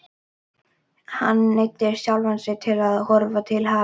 Hann neyddi sjálfan sig til að horfa til hafs.